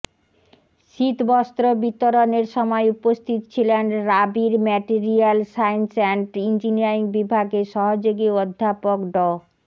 শীতবস্ত্র বিতরণের সময় উপস্থিত ছিলেন রাবির ম্যাটেরিয়ালস সায়েন্স অ্যান্ড ইঞ্জিনিয়ারিং বিভাগের সহযোগী অধ্যাপক ড